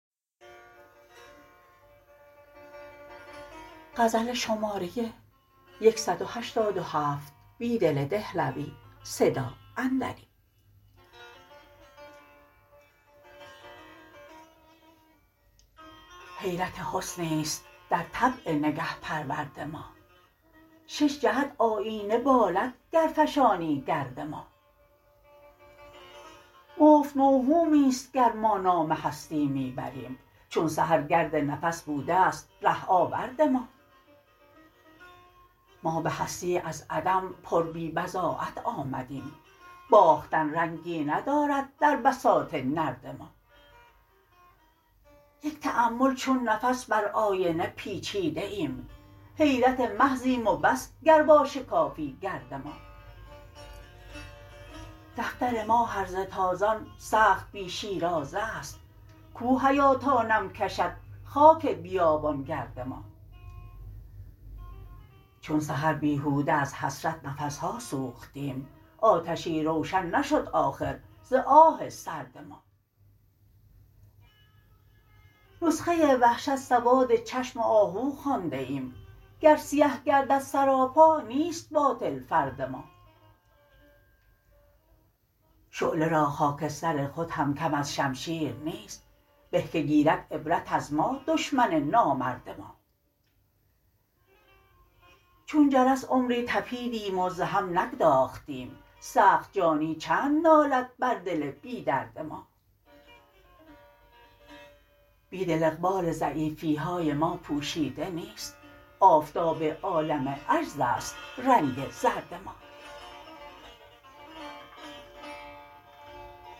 حیرت حسنی است در طبع نگه پرورد ما ششجهت آیینه بالدگر فشانی گرد ما مفت موهومی ست گر ما نام هستی می بریم چون سحرگرد نفس بوده ست ره آورد ما ما به هستی از عدم پر بی بضاعت آمدیم باختن رنگی ندارد در بساط نرد ما یک تأمل چون نفس بر آینه پیچیده ایم حیرت محضیم و بس گر واشکافی گرد ما دفتر ما هرزه تازان سخت بی شیرازه است کو حیا تا نم کشد خاک بیابانگرد ما چون سحر بیهوده از حسرت نفسها سوختیم آتشی روشن نشدآخرزآه سردما نسخه وحشت سواد چشم آهو خواندهایم گر سیه گردد سراپا نیست باطل فرد ما شعله راخاکستر خودهم کم ازشمشیر نیست به که گیرد عبرت از ما دشمن نامرد ما چون جرس عمری تپیدیم وز هم نگداختیم سخت جانی چند نالد بر دل بی درد ما بیدل اقبال ضعیفیهای ما پوشیده نیست آفتاب عالم عجزست رنگ زرد ما